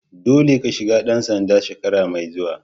Dolle ka shiga dan sanda shekara mai zuwa!